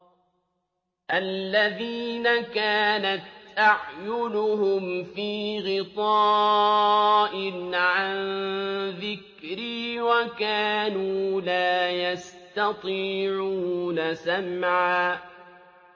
الَّذِينَ كَانَتْ أَعْيُنُهُمْ فِي غِطَاءٍ عَن ذِكْرِي وَكَانُوا لَا يَسْتَطِيعُونَ سَمْعًا